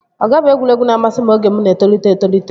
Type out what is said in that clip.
Ọga bụ egwuregwu na-amasị m oge mụ na-etolite etolite